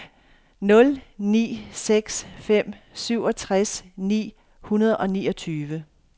nul ni seks fem syvogtres ni hundrede og niogtyve